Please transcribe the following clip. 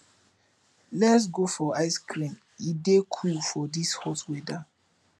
lets go for ice cream e dey cool for this hot weather